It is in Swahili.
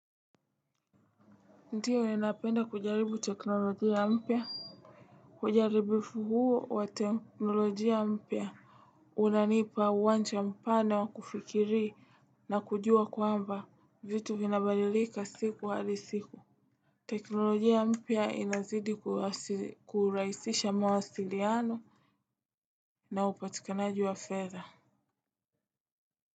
Ndio napenda kujaribu teknolojia mpya? Kujaribifu huo wa teknolojia mpia. Unanipa uwancha mpana wa kufikiri na kujua kwamba vitu vinabalilika siku wali siku. Teknolojia mpia inazidi kuraisisha mawasiliano na upatikanaji wa fedha.